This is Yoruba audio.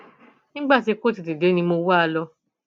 nígbà tí kò tètè dé ni mo wá a lọ